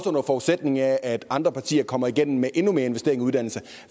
under forudsætningen af at andre partier kommer igennem med endnu mere investering i uddannelse